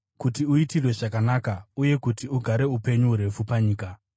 “kuti uitirwe zvakanaka uye kuti ugare upenyu hurefu panyika.”